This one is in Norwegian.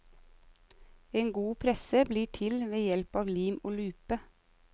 En god presse blir til ved hjelp av lim og lupe.